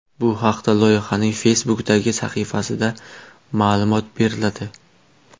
Bu haqda loyihaning Facebook’dagi sahifasida ma’lumot beriladi .